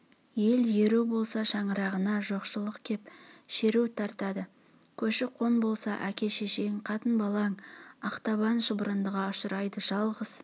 ел еру болса шаңырағына жоқшылық кеп шеру тартады көші-қон болса әке-шешең қатын-балаң ақтабан шұбырындыға ұшырайды жалғыз